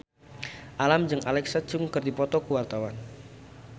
Alam jeung Alexa Chung keur dipoto ku wartawan